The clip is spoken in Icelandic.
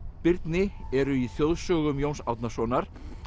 Birni eru í þjóðsögum Jóns Árnasonar